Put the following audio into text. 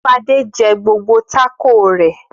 Fadé jẹ gbogbo tákò rẹ̀.